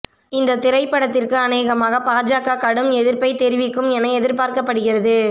இந்த திரைப்படத்திற்கு அனேகமாக பாஜக கடும் எதிர்ப்பை தெரிவிக்கும் என எதிர்பார்க்கப்படுகிறது